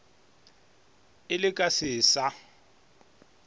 ee le ka se sa